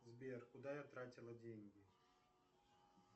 сбер куда я тратила деньги